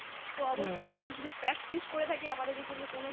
তো অবশ্যই আমরা যদি practice করে থাকি আমাদেরকে কিন্তু কোনো